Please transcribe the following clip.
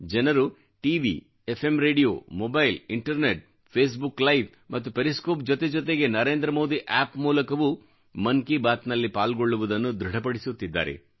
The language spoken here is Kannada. ಜನರು T V F M radio mobile internet Facebook live ಮತ್ತು ಪೆರಿಸ್ಕೋಪ್ ಜೊತೆ ಜೊತೆಗೆ ನರೇಂದ್ರ ಮೋದಿ ಆಪ್ ಮೂಲಕವೂ ಮನ್ ಕಿ ಬಾತ್ ನಲ್ಲಿ ಪಾಲ್ಗೊಳ್ಳುವುದನ್ನು ದೃಢಪಡಿಸುತ್ತಿದ್ದಾರೆ